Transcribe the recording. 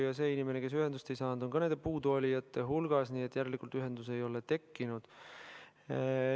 Ja see inimene, kes ühendust ei saanud, on ka nende puuduolijate hulgas, nii et järelikult ühendust ei ole tekkinud.